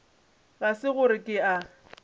ga se gore ke a